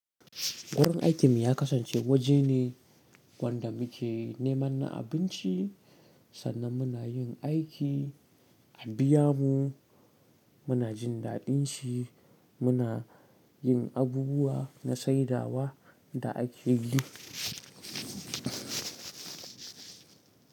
Gurin aikinmu ya kasance waje ne wanda muke neman abinci sannan muna yin aiki, a biya mu, muna jin daɗin shi, muna yin abubuwa na saidawa da aiki.